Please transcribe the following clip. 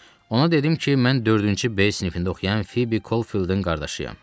Ona dedim ki, mən dördüncü B sinifində oxuyan Fibbi Kolfieldin qardaşıyam.